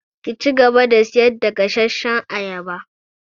Ki cigaba da sayar da gasashshan ayaba!